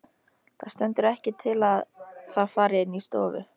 Það stendur ekkert til að það fari inn í stofu.